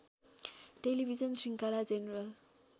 television शृंखला general